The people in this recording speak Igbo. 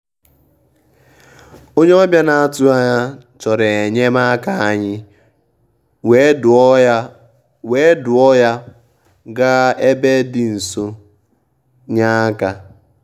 ónyé ọ́bị̀à nà-àtụ́ghị́ ányà yá chọ̀rọ̀ é nyé màká ànyị́ wèé dùò yá wèé dùò yá gàà ébè dì nsó ì nyé áká.